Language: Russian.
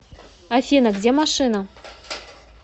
афина где машина